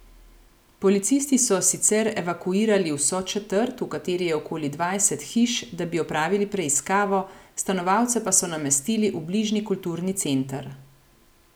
Policisti so sicer evakuirali vso četrt, v kateri je okoli dvajset hiš, da bi opravili preiskavo, stanovalce pa so namestili v bližnji kulturni center.